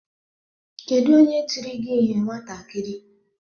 Kedu onye tiri gị ihe nwatakịrị?